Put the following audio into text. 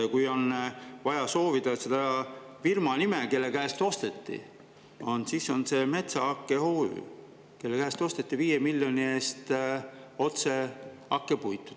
Ja kui on vaja teada selle firma nime, kelle käest osteti, siis see on Metsahake OÜ, kelle käest osteti otse 5 miljoni eest hakkepuitu.